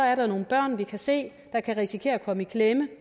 er der nogle børn vi kan se risikerer at komme i klemme